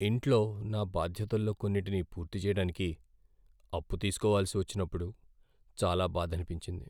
ఇంట్లో నా బాధ్యతల్లో కొన్నింటిని పూర్తిచేయడానికి అప్పు తీసుకోవలసి వచ్చినప్పుడు చాలా బాధనిపించింది.